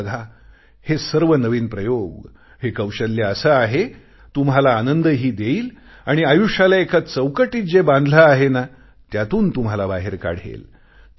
तुम्ही बघा हे सर्व नवीन प्रयोग हे कौशल्य असे आहे तुम्हाला आनंदही देईल आणि आयुष्याला एका चौकटीत जे बांधले आहे ना त्यातून तुम्हाला बाहेर काढेल